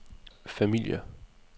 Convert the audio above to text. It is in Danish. familier